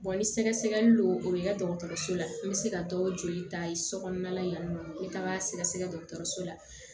ni sɛgɛsɛgɛli lo o bɛ kɛ dɔgɔtɔrɔso la n bɛ se ka dɔw joli ta sokɔnɔna yan nɔ n bɛ taga sɛgɛsɛgɛ dɔgɔtɔrɔso la